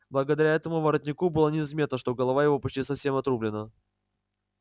благодаря этому воротнику было незаметно что голова его почти совсем отрублена